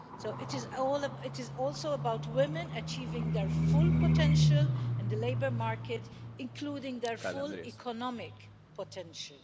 It is also about women achieving their full potential in the labour market, including their full economic potential.